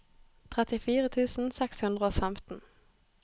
trettifire tusen seks hundre og femten